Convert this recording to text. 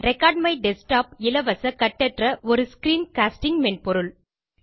record my desktop இலவச கட்டற்ற ஒரு ஸ்கிரீன்காஸ்டிங் மென்பொருள்